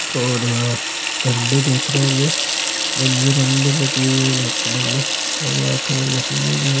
--और यहाँ झंडे देख रहे होंगे रंग-बिरंगे रेड कलर मे और यहा चार मशीने भी हैं।